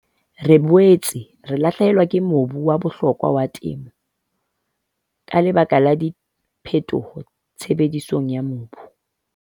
Re boetse re lahlehelwa ke mobu wa bohlokwa wa temo ka lebaka la diphetoho tshebedisong ya mobu.